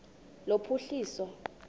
lophuhliso